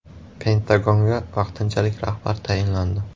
Pentagonga vaqtinchalik rahbar tayinlandi.